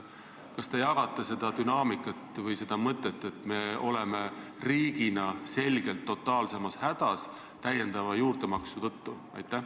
Kas te jagate seda mõtet, et niisuguse dünaamikaga me oleme riigina selgelt totaalselt hädas juurdemaksu tõttu?